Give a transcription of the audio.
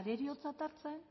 areriotzat hartzen